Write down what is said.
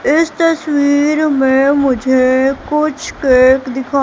इस तस्वीर में मुझे कुछ केक दिखा--